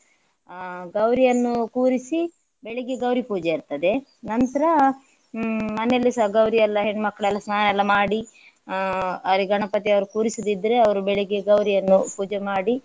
ಆ ಗೌರಿಯನ್ನು ಕೂರಿಸಿ ಬೆಳಿಗ್ಗೆ ಗೌರಿ ಪೂಜೆ ಇರ್ತದೆ ನಂತ್ರ ಹ್ಮ್ ಮನೆಯಲ್ಲಿಸ ಗೌರಿ ಎಲ್ಲ ಹೆಣ್ಮಕ್ಕಳೆಲ್ಲ ಸ್ನಾನ ಎಲ್ಲ ಮಾಡಿ ಅಹ್ ಅವರಿಗೆ ಗಣಪತಿ ಅವರು ಕೂರಿಸದಿದ್ರೆ ಅವರು ಬೆಳಿಗ್ಗೆ ಗೌರಿಯನ್ನು ಪೂಜೆ ಮಾಡಿ.